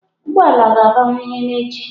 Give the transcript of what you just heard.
Ụgwọ ụgbọ ala ga-abawanye n'echi.